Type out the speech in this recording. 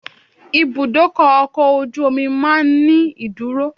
Ibùdó ọkọ̀ ojú omi máa ń ní ìdúró.